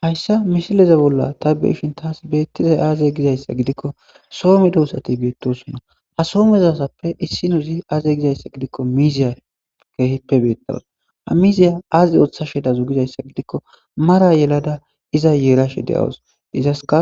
Hayssa mishileze bolla ta beishin taas beettizay aaze gizayssa gidikko soome dohussati beettosonna ha soomezasappe issinozi aaze gizayssa gidikko miiziya keehippe beettawus ha miiziya aaz ooththashe dazu gizayssa gidikko mara yelada iza yeerashe de'awus izaska